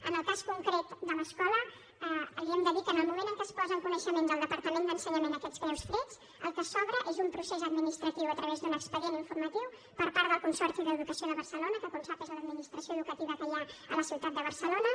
en el cas concret de l’escola li hem de dir que en el moment en què es posen en coneixement del departament d’ensenyament aquests greus fets el que s’obre és un procés administratiu a través d’un expedient informatiu per part del consorci d’educació de barcelona que com sap és l’administració educativa que hi ha a la ciutat de barcelona